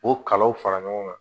O kalaw fara ɲɔgɔn kan